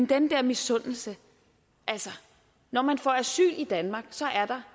den der misundelse altså når man får asyl i danmark så er der